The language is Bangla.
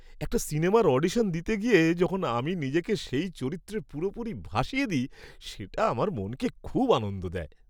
একটা সিনেমার অডিশন দিতে গিয়ে যখন আমি নিজেকে সেই চরিত্রে পুরোপুরি ভাসিয়ে দিই, সেটা আমার মনকে খুব আনন্দ দেয়।